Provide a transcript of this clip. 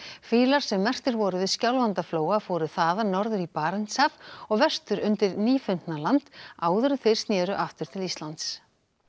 fýlar sem merktir voru við Skjálfandaflóa fóru þaðan norður í Barentshaf og vestur undir Nýfundnaland áður en þeir snéru aftur til Íslands